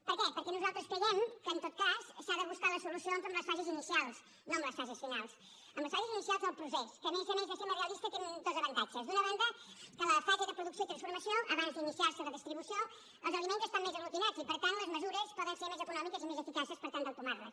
per què perquè nosaltres creiem que en tot cas s’ha de buscar la solució en les fases inicials no en les fases finals en les fases inicials del procés que a més a més de ser més realista té dos avantatges d’una banda que la fase de producció i transformació abans d’iniciarse la distribució els aliments estan més aglutinants i per tant les mesures poden ser més econòmiques i més eficaces per tal d’entomarles